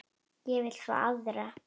Ég vil fá aðra.